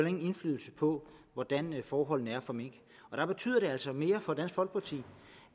ingen indflydelse på hvordan forholdene er for mink der betyder det altså mere for dansk folkeparti